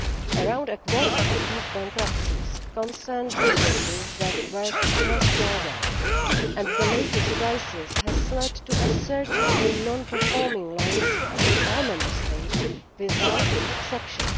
Around a quarter of these bankruptcies concern businesses that work cross border, and the latest crisis has led to a surge in non performing loans in all Member States without exception.